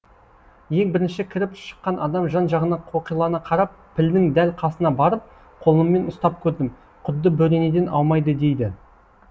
ең бірінші кіріп шыққан адам жан жағына қоқилана қарап пілдің дәл қасына барып қолыммен ұстап көрдім құдды бөренеден аумайды дейді